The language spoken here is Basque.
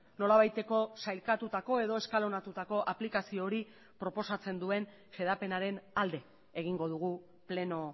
nolabaiteko sailkatutako edo eskalonatutako aplikazio hori proposatzen duen xedapenaren alde egingo dugu pleno